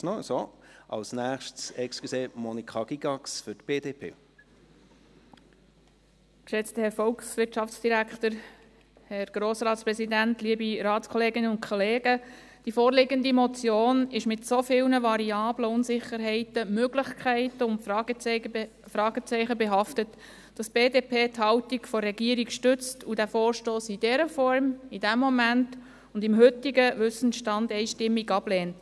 Die vorliegende Motion ist mit so vielen Variablen, Unsicherheiten, Möglichkeiten und Fragezeichen behaftet, dass die BDP die Haltung der Regierung stützt und den Vorstoss in dieser Form, in diesem Moment und mit dem heutigen Wissenstand einstimmig ablehnt.